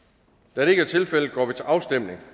da det ikke er tilfældet går vi til afstemning